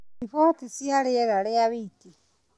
riboti cia rĩera rĩa o wiki